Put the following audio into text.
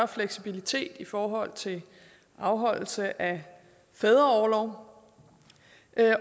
fleksibilitet i forhold til afholdelse af fædreorlov